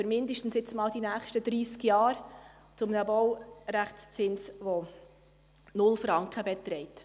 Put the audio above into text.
erstmal mindestens für die nächsten 30 Jahre, zu einem Baurechtszins, der 0 Franken beträgt.